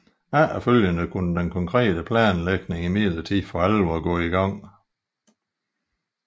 Efterfølgende kunne den konkrete planlægning imidlertid for alvor gå i gang